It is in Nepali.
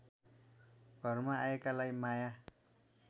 घरमा आएकालाई माया